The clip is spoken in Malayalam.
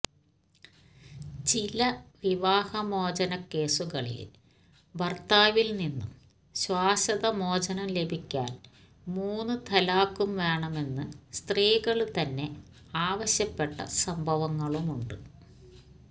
ചില വിവാഹമോചനക്കേസുകളില് ഭര്ത്താവില് നിന്നു ശാശ്വതമോചനം ലഭിക്കാന് മൂന്ന് ത്വലാഖും വേണമെന്ന് സ്ത്രീകള് തന്നെ ആവശ്യപ്പെട്ട സംഭവങ്ങളുമുണ്ട്